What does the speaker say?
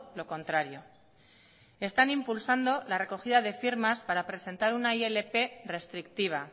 lo contrario están impulsando la recogida de firmas para presentar una ilp restrictiva